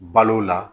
Balo la